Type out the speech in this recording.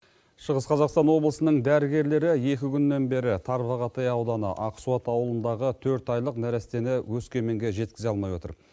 шығыс қазақстан облысының дәрігерлері екі күннен бері тарбағатай ауданы ақсуат ауылындағы төрт айлық нәрестені өскеменге жеткізе алмай отыр